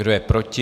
Kdo je proti?